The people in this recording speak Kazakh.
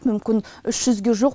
мүмкін үш жүзге жуық